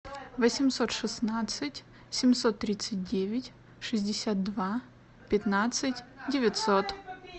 восемьсот шестнадцать семьсот тридцать девять шестьдесят два пятнадцать девятьсот